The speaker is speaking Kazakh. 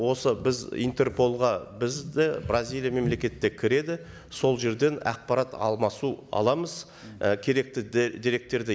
осы біз интерполға біз де бразилия мемлекеті де кіреді сол жерден ақпарат алмасу аламыз ы керекті деректерді